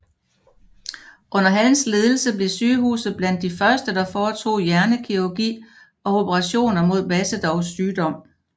Under hans ledelse blev sygehuset blandt de første der foretog hjernekirurgi og operationer mod Basedows sygdom